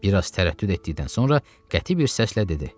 Bir az tərəddüd etdikdən sonra qəti bir səslə dedi: